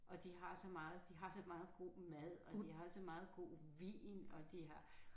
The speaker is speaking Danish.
Og de har så meget de har så meget god mad og de har så meget god vin og de har